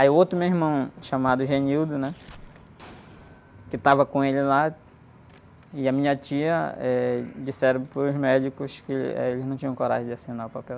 Aí o outro meu irmão, chamado, né? Que estava com ele lá, e a minha tia, eh, disseram para os médicos que, eh, eles não tinham coragem de assinar o papel.